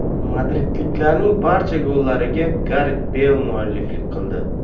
Madridliklarning barcha gollariga Garet Beyl mualliflik qildi.